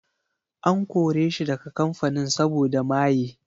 An kore shi daga kamfanin saboda maye.